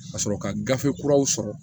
Ka sɔrɔ ka gafe kuraw sɔrɔ